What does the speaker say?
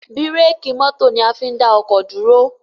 bírékì mọ́tò ní a fín dá oko dúró.